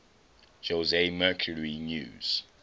jose mercury news